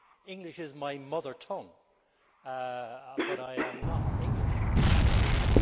English is my mother tongue, but I am not English I am Irish.